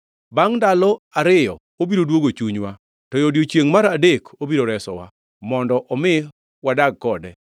Bangʼ ndalo ariyo obiro duogo chunywa to e odiechiengʼ mar adek obiro resowa, mondo omi wadag kode.